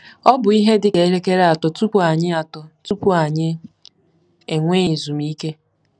Ọ bụ ihe dị ka elekere atọ tupu anyị atọ tupu anyị enwee ezumike.